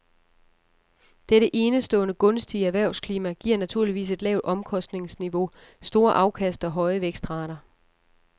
Dette enestående gunstige erhvervsklima giver naturligvis et lavt omkostningsniveau, store afkast og høje vækstrater.